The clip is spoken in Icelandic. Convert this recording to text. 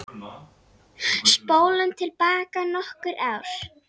Spólum til baka nokkur ár.